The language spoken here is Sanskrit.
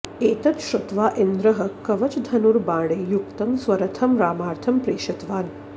एतत् श्रुत्वा इन्द्रः कवचधनुर्बाणैः युक्तं स्वरथं रामार्थं प्रेषितवान्